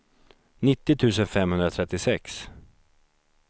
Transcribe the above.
nittio tusen femhundratrettiosex